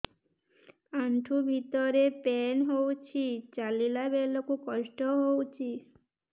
ଆଣ୍ଠୁ ଭିତରେ ପେନ୍ ହଉଚି ଚାଲିଲା ବେଳକୁ କଷ୍ଟ ହଉଚି